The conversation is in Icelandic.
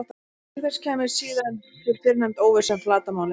Auk þess kæmi síðan til fyrrnefnd óvissa um flatarmálið.